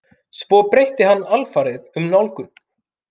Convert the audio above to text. Svo breytti hann alfarið um nálgun.